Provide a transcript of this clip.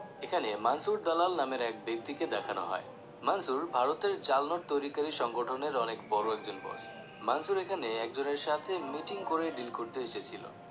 এখানে মানসুর দালাল নামের এক ব্যক্তিকে দেখানো হয় মানসুর ভারতের জাল নোট তৈরি কারী সংগঠনের অনেক বড় একজন boss মানসুর এখানে একজনের সাথে meeting করে deal করতে এসেছিলো